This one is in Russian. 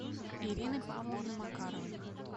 ирины павловны макаровой